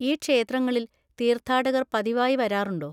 ഈ ക്ഷേത്രങ്ങളിൽ തീർത്ഥാടകർ പതിവായി വരാറുണ്ടോ?